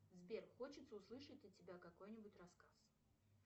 сбер хочется услышать от тебя какой нибудь рассказ